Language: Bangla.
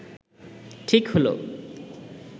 ঠিক হলো